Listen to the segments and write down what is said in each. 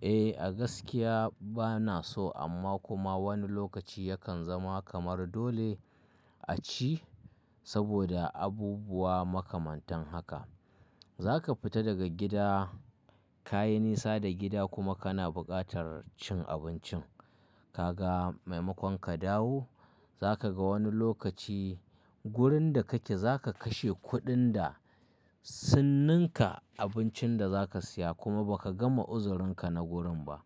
Eh, a gaskiya bana so amma kuma wani lokaci yakan zama kamar dole a ci saboda abubuwa makamantan haka. Zaka fita daga gida, kayi nisa da gida kuma kana bukatar cin abincin. Ka ga maimakon ka dawo, zaka ga wani lokaci wurin da kake zaka kashe kuɗin da sun ninka abincin da zaka siya kuma baka gama uzurinka na gurin ba.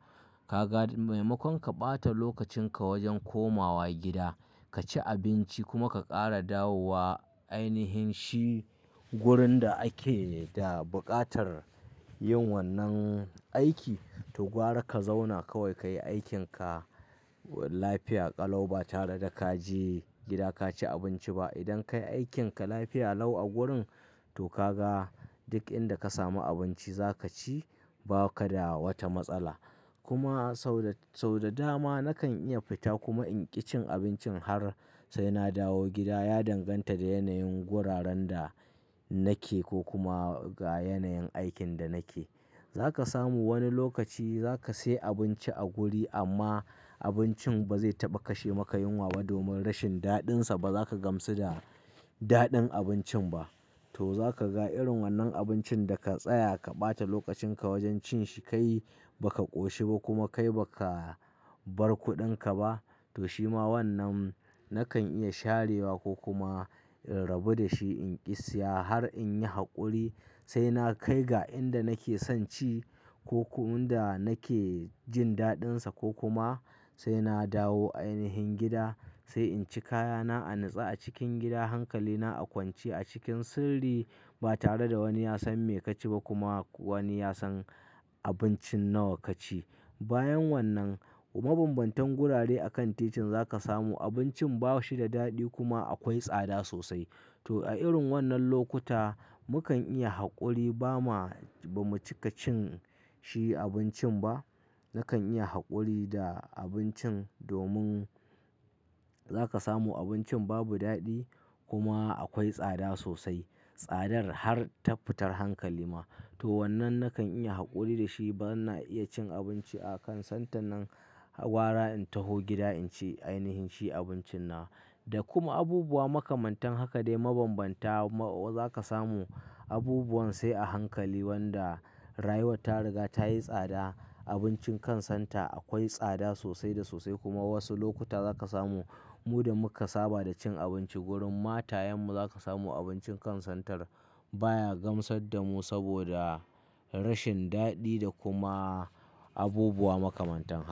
Ka ga maimakon ka ɓata lokacin ka wajen komawa gida ka ci abinci kuma ka ƙara dawowa ainihin shi wurin da ake da bukatar yin wannan aiki. To gwara ka zauna kawai ka yi aikin ka lafiya ƙalau ba tare da kaje gida ka ci abinci ba. Idan kayi aikin ka lafiya lau a gurin, to ka ga duk inda ka samu abinci za ka ci, ba ka da wata matsala. Kuma sau da dama nakan iya fita kuma in ƙi cin abincin har sai na dawo gida. Ya danganta da yanayin guraren da nake ko kuma ga yanayin aikin da nake. Zaka samu wani lokaci zaka siya abinci a guri amma abincin ba zai taɓa kashe maka yunwa ba domin rashin daɗin sa. Ba za ka gamsu da daɗin abincin ba. To za ka ga irin wannan abincin da ka tsaya ka ɓata lokacin ka wajen cin shi, kai baka ƙoshi ba kuma kai baka bar kuɗin ka ba. To shima wannan nakan iya sharewa ko kuma in rabi da shi in ƙi siya har in yi haƙuri sai na kai ga inda nake son ci ko kuma inda nake jin daɗin sa ko kuma sai na dawo ainihin gida sai in ci kayana a natsa a cikin gida, hankali na a kwance a cikin sirri ba tare da wani ya san me kaci ba kuma wani ya san abincin nawa kaci. Bayan wannan, mabambantan gurare a kan titin za ka samu abincin ba shi da daɗi kuma akwai tsada sosai. To a irin wannan lokuta, mukan iya haƙuri ba ma, ba mu cika cin shi abincin ba. Nakan iya haƙuri da abincin domin za ka samu abincin babu daɗi kuma akwai tsada sosai. Tsadar har ta fitar hankali ma. To wannan nakan iya haƙuri da shi bana iya cin abinci a kan santan nan. Gwara in taho gida in ci ainihin shi abincin na. Da kuma abubuwa makamantan haka dai mabambanta ma za ka samu abubuwan sai a hankali wanda rayuwar ta riga tayi tsada. Abincin kan santa akwai tsada sosai da sosai kuma wasu lokuta za ka samu mu da muka saba da cin abinci gurin matayen mu za ka samu abincin kan santar baya gamsar da mu saboda rashin daɗi da kuma abubuwa makamantan haka.